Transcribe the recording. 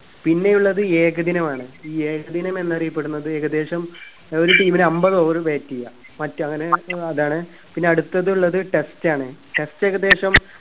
പിന്നെയുള്ളത് ഏകദിനമാണ് ഈ ഏകദിനം എന്നറിയപ്പെടുന്നത് ഏകദേശം ഏർ ഒരു team ൻ അമ്പത് over bat ചെയ്യാ മറ്റ് അങ്ങനെ ഏർ അതാണ് പിന്നെ അടുത്ത ഉള്ളത് test ആണ് test ഏകദേശം